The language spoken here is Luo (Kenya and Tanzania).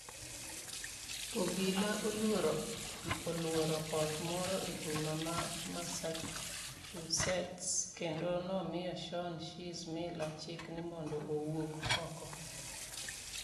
Obila oluoro ot moro e boma ma Massachusetts kendo nomiyo Shaun "Shizz" Miller chik ni mondo owuok oko